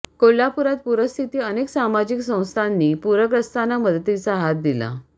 कोल्हापुरात पूरस्थिती अनेक सामाजिक संस्थांनी पूरग्रस्तांना मदतीचा हात दिला